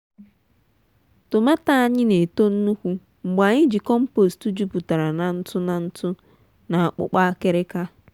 tomààto anyị na-eto nnukwu mgbe anyị ji compost jupụtara na ntụ na ntụ na akpụkpọ akịrịka.